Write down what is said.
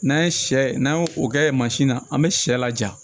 N'an ye sɛ n'an ye o kɛ mansin na an bɛ sɛ laja